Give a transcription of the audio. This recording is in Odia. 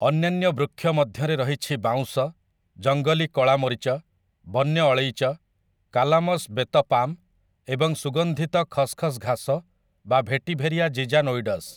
ଅନ୍ୟାନ୍ୟ ବୃକ୍ଷ ମଧ୍ୟରେ ରହିଛି ବାଉଁଶ, ଜଙ୍ଗଲୀ କଳା ମରିଚ, ବନ୍ୟ ଅଳେଇଚ, କାଲାମସ୍‌ ବେତ ପାମ୍‌ ଏବଂ ସୁଗନ୍ଧିତ ଖସ୍‌ ଖସ୍‌ ଘାସ ବା ଭେଟିଭେରିଆ ଜିଜାନୋଇଡସ୍‌ ।